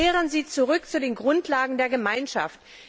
Kehren Sie zurück zu den Grundlagen der Gemeinschaft!